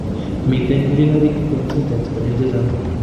Miten urinary incontinence konyil chechang